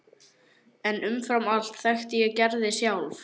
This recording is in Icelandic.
En umfram allt þekkti ég Gerði sjálf.